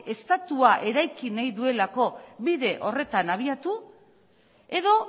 estatua eraiki bahi duelako bide horretan abiatu edo